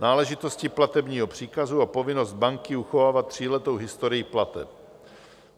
Náležitosti platebního příkazu a povinnost banky uchovávat tříletou historii plateb.